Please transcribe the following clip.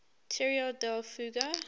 tierra del fuego